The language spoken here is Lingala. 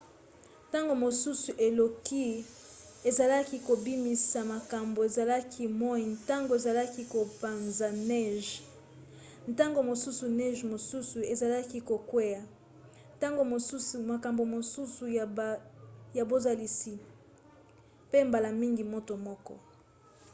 ntango mosusu eloko ezalaki kobimisa makambo ezalaki moi ntango ezalaki kopanza neige ntango mosusu neige mosusu ezalaki kokwea ntango mosusu makambo mosusu ya bozalisi mpe mbala mingi moto moko